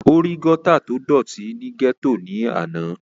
ó rí gọ́tà tó dọ̀tí ní gẹ́tò ní àná